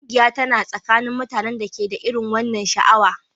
Ƙungiya tana tsakanin mutanen da ke da irin wannan sha'awa